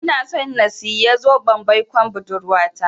Inason siyan zoben baikon budurwata.